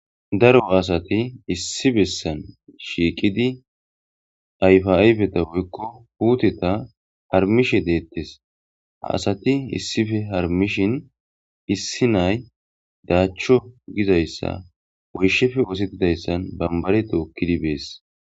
Daro asat issi botan shiiqid ayfa ayfeta woyko puteta harumishe detes,ha asat issippe harumishin issi na'ay dacho getetizaysa woyshappe osetizaysa tokid yishe Des.